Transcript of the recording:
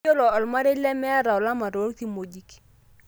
Keyiolo ormarei lemeta olama tokimojik.